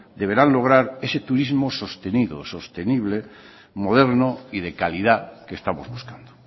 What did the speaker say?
deberán lograr ese turismo sostenido o sostenible moderno y de calidad que estamos buscando